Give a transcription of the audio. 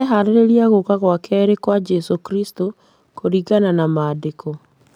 Marĩhaarĩria gũka gwa keerĩ kwa Jesũ Kristo kũringana na maandĩko.